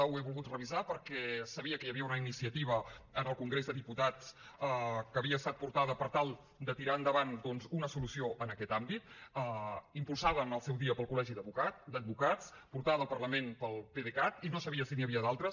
ho he volgut revisar perquè sabia que hi havia una iniciativa en el congrés dels diputats que havia estat portada per tal de tirar endavant doncs una solució en aquest àmbit impulsada en el seu dia pel col·legi d’advocats portada al parlament pel pdecat i no sabia si n’hi havia d’altres